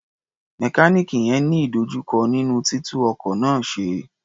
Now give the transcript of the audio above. Mẹkáníìnì yẹn ń ní ìdojúkọ nínú títú ọkọ̀ náà ṣe.